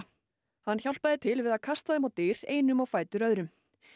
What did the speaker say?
hann hjálpaði til við að kasta þeim á dyr einum á fætur öðrum